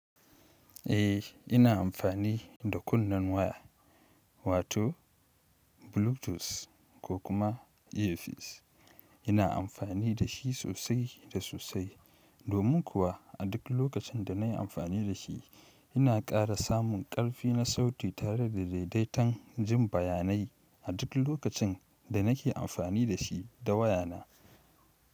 Eh ina amfani da kunnen waya wato Bluetooth ko kuma Earpiece ina amfani da shi sosai da sosai domin kuwa a duk lokacin da na yi amfani da shi ina ƙara samun ƙarfi na sauti tare da daidaitan jin bayanai a duk lokacin da nake amfani da shi da wayana.